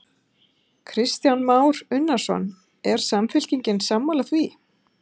Kristján Már Unnarsson: Er Samfylkingin sammála því?